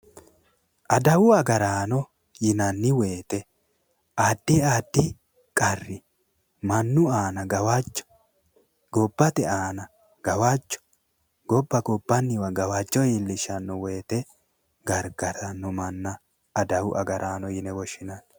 adawu agaraano yinannai woyite addi addi qarri mannu aana gawajjo gobbate aana gawajjo gobba gobbanniwa gawajjo iillishshanno woyiite gargarnno manna adawu agaraano yuine woshshinanni.